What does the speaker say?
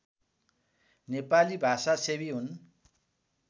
नेपाली भाषासेवी हुन्